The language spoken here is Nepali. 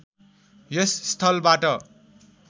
यस स्थलबाट